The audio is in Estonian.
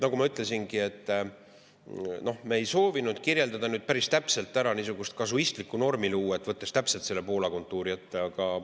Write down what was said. Nagu ma ütlesin, me ei soovinud päris täpselt kirjeldada, niisugust kasuistlikku normi luua, võttes täpselt Poola kontuuri ette.